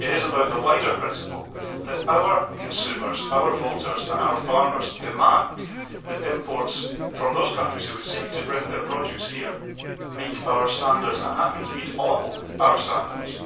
It is about the wider principle that our consumers, our voters and our farmers demand that imports from those countries which would seek to bring their produce here meet our standards and that means meet all our standards.